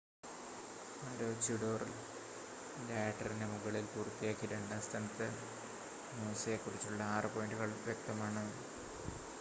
മാരോചിഡോർ ലാഡറിന് മുകളിൽ പൂർത്തിയാക്കി രണ്ടാം സ്ഥാനത്ത് നൂസയെക്കുറിച്ച് 6 പോയിൻ്റുകൾ വ്യക്തമാണ്